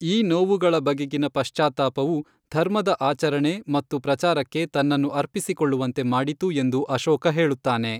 ಈ ನೋವುಗಳ ಬಗೆಗಿನ ಪಶ್ಚಾತ್ತಾಪವು ಧರ್ಮದ ಆಚರಣೆ ಮತ್ತು ಪ್ರಚಾರಕ್ಕೆ ತನ್ನನ್ನು ಅರ್ಪಿಸಿಕೊಳ್ಳುವಂತೆ ಮಾಡಿತು ಎಂದು ಅಶೋಕ ಹೇಳುತ್ತಾನೆ.